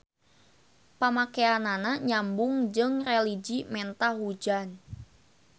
Pamakeanana nyambung jeung religi menta hujan.